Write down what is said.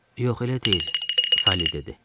Yox, elə deyil, Salli dedi.